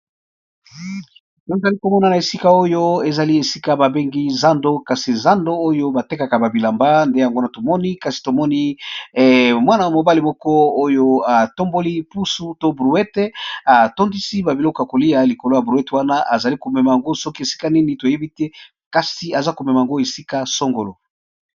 Nazalikomona Esika Oyo bambengi zando zando Oyo eza Esika batekaka bilanba